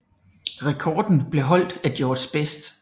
Rekorden blev holdt af George Best